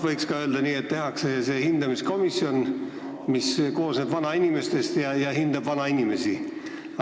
Võiks ka öelda nii, et tehakse see hindamiskomisjon, mis koosneb vanainimestest ja hindab vanainimesi.